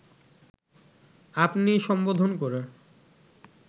আপনি সম্বোধন করে